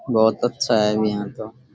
बहुत अच्छा है यह तो।